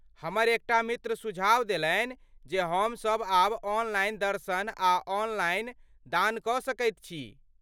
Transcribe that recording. हमर एक टा मित्र सुझाव देलनि जे हमसभ आब ऑनलाइन दर्शन आ ऑनलाइन दान कऽ सकैत छी।